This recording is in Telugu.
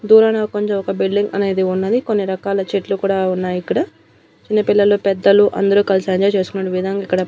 దూరాన కొంచెం ఒక బిల్డింగ్ అనేది ఉన్నది కొన్ని రకాల చెట్లు కూడా ఉన్నాయి ఇక్కడ. చిన్నపిల్లలు పెద్దలు అందరూ కలసి ఎంజాయ్ చేసుకొనేటు విధంగా ఇక్కడ --